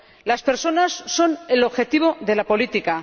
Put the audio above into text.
Las personas son el objetivo de la política.